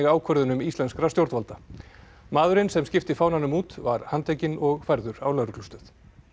ákvörðunum íslenskra stjórnvalda maðurinn sem skipti fánanum út var handtekinn og færður á lögreglustöð